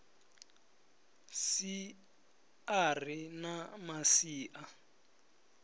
si a ri na masia